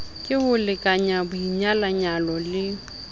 ke ho lekanya boinyalanyo le